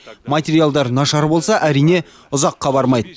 материалдар нашар болса әрине ұзаққа бармайды